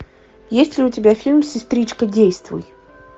есть ли у тебя фильм сестричка действуй